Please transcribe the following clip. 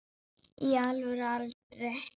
í alvöru aldrei